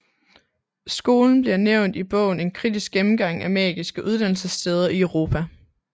Skolen bliver nævnt i bogen En kritisk gennemgang af Magiske Uddannelsessteder i Europa